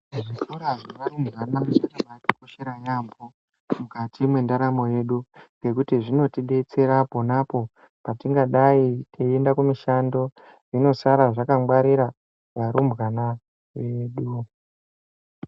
Zvikora zvevarumbwana zvakakosha yambo mukati mendaramo yedu ngekuti zvinotidetsera ponapo patingadai teienda kumushando zvinosara zvakangwarira varumbwana vedu